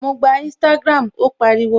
Ma gba Instagram! Ó pàrọwà